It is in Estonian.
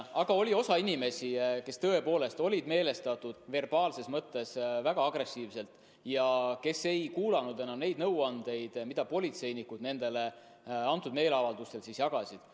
Aga oli osa inimesi, kes tõepoolest olid meelestatud verbaalses mõttes väga agressiivselt ja kes ei kuulanud enam neid nõuandeid, mida politseinikud neile nendel meeleavaldustel jagasid.